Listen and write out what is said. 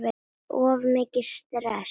Of mikið stress?